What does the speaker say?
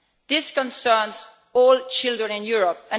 This concerns all children in Europe.